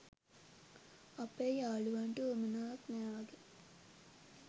අපේ යාලුවන්ට උවමනාවක් නෑ වගේ